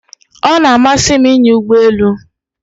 O na-amasị m inya Ụgbọ elu